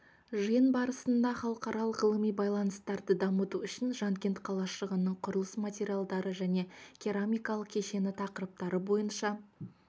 жиын барысында халықаралық ғылыми байланыстарды дамыту үшін жанкент қалашығының құрылыс материалдары және керамикалық кешені тақырыптары бойынша